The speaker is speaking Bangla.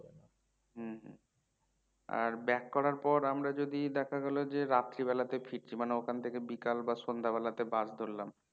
হম হম আর back করার পর আমরা যদি দেখা গেলো যে রাত্রি বেলাতে ফিরছি মানে ওখান থেকে বিকাল বা সন্ধ্যা বেলাতে bus ধরলাম